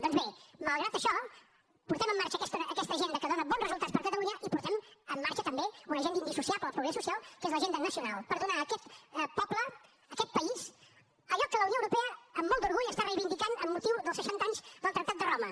doncs bé malgrat això portem en marxa aquesta agenda que dona bons resultats per a catalunya i portem en marxa també una agenda indissociable del progrés social que és l’agenda nacional per donar a aquest poble a aquest país allò que la unió europea amb molt d’orgull reivindica amb motiu dels seixanta anys del tractat de roma